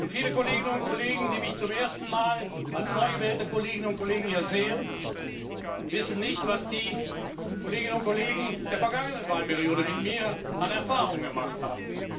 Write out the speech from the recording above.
Viele Kolleginnen und Kollegen, die mich zum ersten Mal als neu gewählte Kolleginnen und Kollegen hier sehen, wissen nicht, was die Kolleginnen und Kollegen der vergangenen Wahlperiode mit mir an Erfahrungen gemacht haben.